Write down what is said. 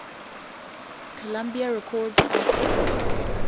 columbia records artists